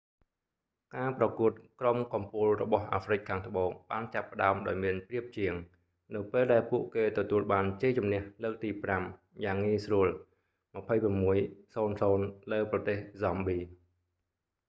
ការប្រកួតក្រុមកំពូលរបស់អាហ្វ្រិកខាងត្បូងបានចាប់ផ្តើមដោយមានប្រៀបជាង នៅពេលដែលពួកគេទទួលបានជ័យជម្នះលើកទី 5យ៉ាងងាយស្រួល 26 - 00 លើប្រទេស ហ្សំប៊ី